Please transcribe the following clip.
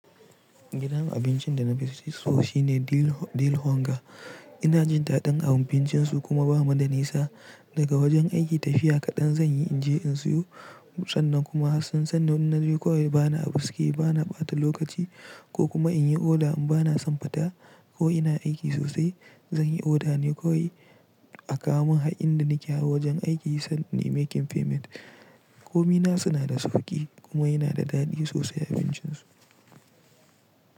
Gidan abincin da na fi so shi ne Dil Honga. Ina jin dadin abincin su kuma ba mu da nisa daga wajen aiki. Tafiya kaɗan zan yi in je in siyo. Sannan kuma sun sanni in na je kawai bani abu suke, bana ɓata lokaci ko kuma in yi oda in bana san fita ko ina aiki sosai. Zan yi oda ne kawai a kawomun har inda nake har wajen aiki sannan making payment. Komin na su na da sauƙi kuma yana da daɗi sosai abincin su.